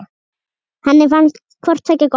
Henni fannst hvort tveggja gott.